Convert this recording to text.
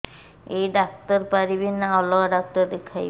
ଏଇ ଡ଼ାକ୍ତର ପାରିବେ ନା ଅଲଗା ଡ଼ାକ୍ତର ଦେଖେଇବି